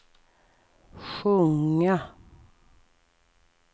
sjunga